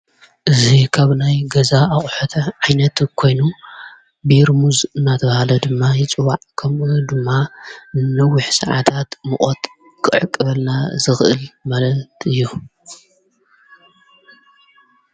እዙ ከብናይ ገዛ ኣቝሐተ ዓይይነቱ ኮይኑ ብርሙዝ ናትብሃለ ድማ ይፅዋዕ ከምኡ ድማ ንዊኅ ሰዓታት ምቖት ክዕ ቅ በልና ዝኽእል መለት እዩ።